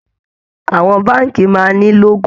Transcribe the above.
Àwọn báǹkì máa ń ní lógò